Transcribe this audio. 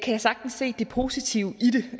jeg sagtens se det positive